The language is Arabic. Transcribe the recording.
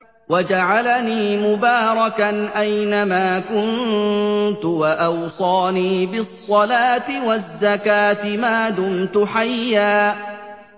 وَجَعَلَنِي مُبَارَكًا أَيْنَ مَا كُنتُ وَأَوْصَانِي بِالصَّلَاةِ وَالزَّكَاةِ مَا دُمْتُ حَيًّا